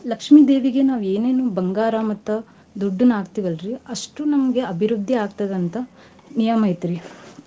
ಲಕ್ಷ್ಮೀ ದೇವಿಗೆ ನಾವ್ ಏನೇನು ಬಂಗಾರ ಮತ್ತ್ ದುಡ್ಡನ್ ಹಾಕ್ತಿವಲರಿ ಅಸ್ಟು ನಮ್ಗೆ ಅಭಿರುದ್ದಿ ಆಗ್ತಾದ ಅಂತ್ ನಿಯಮ್ ಐತ್ರೀ.